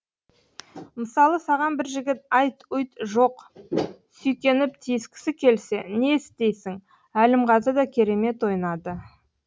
мысалы саған бір жігіт айт ұйт жоқ сүйкеніп тиіскісі келсе не істейсің әлімғазы да керемет ойнады